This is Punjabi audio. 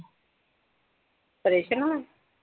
ਆਪ੍ਰੇਸ਼ਨ ਨੂੰ